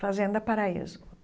Fazenda Paraíso.